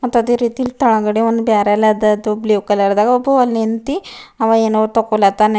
ಮತ್ ಅದೇ ರೀತಿ ಕೆಳಗಡೆ ಒಂದ್ ಬ್ಯಾರೆಲ್ ಅದ ಅದು ಬ್ಲೂ ಕಲರ್ ದಗ ಒಬ್ಬ ಅಲ್ಲಿ ನಿಂತಿ ಅವ ಏನೊ ತೊಕ್ಕೋಲತ್ತಾನ.